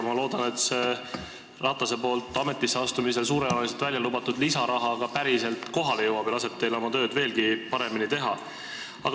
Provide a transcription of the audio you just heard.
Ma loodan, et Ratase poolt ametisse astumisel suurejooneliselt välja lubatud lisaraha ka päriselt kohale jõuab ja võimaldab teil oma tööd veelgi paremini teha.